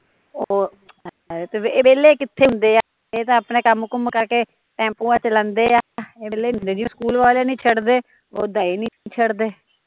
ਓਹ ਤਾਂ ਹੈ ਫਿਰ, ਏਹ ਵੇਹਲੇ ਕਿੱਥੇ ਹੁੰਦੇ ਆ ਏਹ ਤਾਂ ਅਪਣੇ ਕੰਮ ਕੁਮ ਮੁਕਾ ਕੇ ਟੈਂਪੂਆ ਚਲਾਉਂਦੇ ਆ ਏਹ ਵੇਹਲੇ ਨੀ ਹੁੰਦੇ ਜਿਵੇ ਸਕੂਲ ਵਾਲੇ ਨੀ ਛੱਡਦੇ ਓਦਾ ਏਹ ਨੀ ਛੱਡਦੇ